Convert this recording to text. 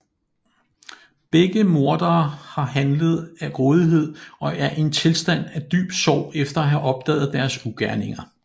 Begge mordere har handlet af grådighed og er i en tilstand af dyb sorg efter at have opdaget deres ugerninger